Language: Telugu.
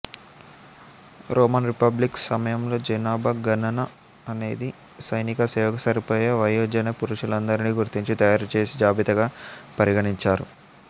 రోమన్ రిపబ్లిక్ సమయంలో జనాభా గణన అనేది సైనికసేవకు సరిపోయే వయోజన పురుషులందరినీ గుర్తించి తయారు చేసే జాబితాగా పరిగణించారు